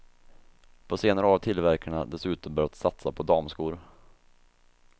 På senare år har tillverkarna dessutom börjat satsa på damskor.